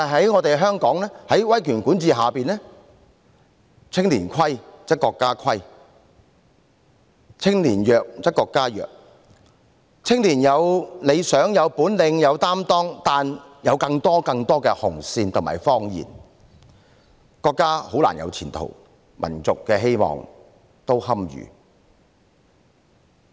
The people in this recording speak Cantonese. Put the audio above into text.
然而，香港在威權管治下，青年虧則國家虧，青年弱則國家弱，雖然青年有理想、有本領、有擔當，但由於有更多更多的"紅線"和謊言，因此國家很難有前途，民族的希望也堪虞。